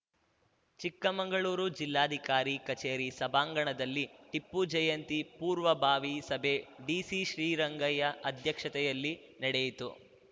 ಚಿಕ್ಕಮಂಗಳೂರು ಜಿಲ್ಲಾಧಿಕಾರಿ ಕಚೇರಿ ಸಭಾಂಗಣದಲ್ಲಿ ಟಿಪ್ಪು ಜಯಂತಿ ಪೂರ್ವಭಾವಿ ಸಭೆ ಡಿಸಿ ಶ್ರೀರಂಗಯ್ಯ ಅಧ್ಯಕ್ಷತೆಯಲ್ಲಿ ನೆಡೆಯಿತು